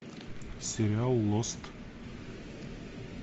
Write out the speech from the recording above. сериал лост